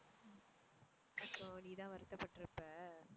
so நீ தான் வருத்தப்பட்டுருப்ப ஹம்